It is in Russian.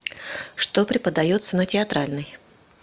что преподается на театральной